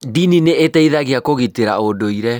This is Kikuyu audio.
Ndini nĩ ĩteithagia kũgitĩra ũndũire.